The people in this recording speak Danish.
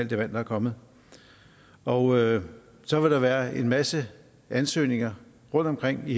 det vand der er kommet og så vil der være en masse ansøgninger rundtomkring i